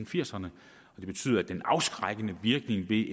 firserne og det betyder at den afskrækkende virkning i